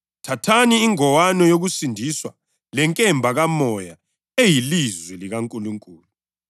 Phezu kwakho konke lokhu, thathani ihawu lokukholwa elizacitsha ngalo yonke imitshoko yomubi evuthayo.